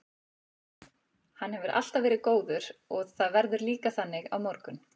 Hann hefur alltaf verið góður og það verður líka þannig á morgun.